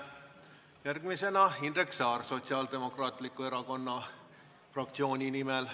Järgmisena Indrek Saar Sotsiaaldemokraatliku Erakonna fraktsiooni nimel.